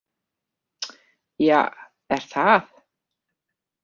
Ja, er það?